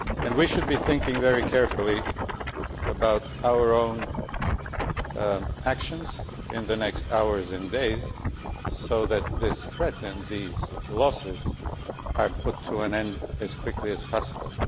We should be thinking very carefully about our own actions in the next hours and days, so that this threat and these losses are put to an end as quickly as possible.